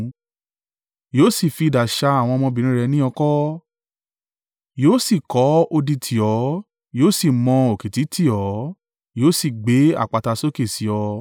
Yóò sì fi idà sá àwọn ọmọbìnrin rẹ ní oko, yóò sì kọ́ odi tì ọ́, yóò sì mọ òkìtì tì ọ́, yóò sì gbé àpáta sókè sí ọ.